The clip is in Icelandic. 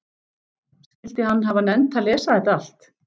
Skyldi hann hafa nennt að lesa þetta allt?